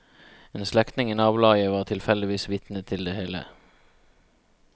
En slektning i nabolaget var tilfeldigvis vitne til det hele.